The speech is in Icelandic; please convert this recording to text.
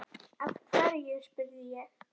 Af hverju? spurði ég.